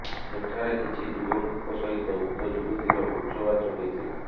ସେଠାରେ କିଛି ଯୁବକଙ୍କ ସହିତ ଉକ୍ତ ଯୁବତୀର ଉଚବାଚ ହୋଇଥିଲା